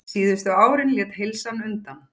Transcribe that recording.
Síðustu árin lét heilsan undan.